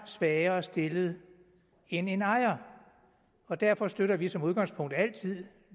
svagere stillet end en ejer og derfor støtter vi som udgangspunkt altid